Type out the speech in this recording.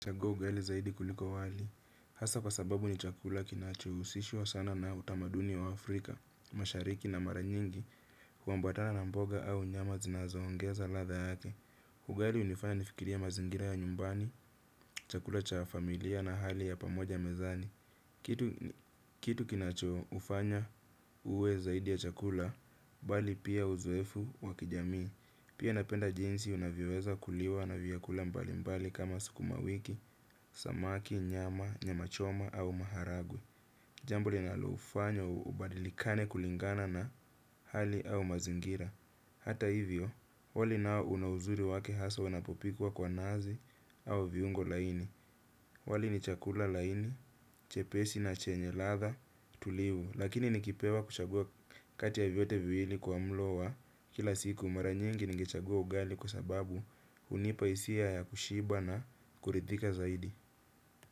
Nachagua ugali zaidi kuliko wali. Hasa kwa sababu ni chakula kinachohusishwa sana na utamaduni wa Afrika. Mashariki na mara nyingi huambatana na mboga au nyama zinazoongeza ladha yake. Hu hali hunifanya nifikirie mazingira ya nyumbani, chakula cha familia na hali ya pamoja mezani. Kitu kinachokufanya uwe zaidi ya chakula, bali pia uzoefu wa kijamii. Pia napenda jinsi unavyoweza kuliwa na vyakula mbalimbali kama sukuma wiki, samaki, nyama, nyama choma au maharagwe. Jambo linalofanya ubadilike kulingana na hali au mazingira. Hata hivyo, wali nao una uzuri wake hasa unapopikwa kwa nazi au viungo laini. Wali ni chakula laini, chepesi na chenye ladha tulivu. Lakini nikipewa kuchagua kati ya vyote viwili kwa mlo wa kila siku, mara nyingi ningechagua ugali kwa sababu hunipatia hisia ya kushiba na kuridhika zaidi.